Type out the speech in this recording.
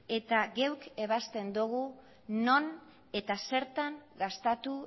eta geuk ebazten dogu non eta zertan gastatu